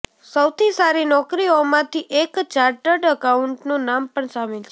સૌથી સારી નૌકરીઓમાં થી એક ચાર્ટડ એકાઉન્ટ નું નામ પણ શામિલ છે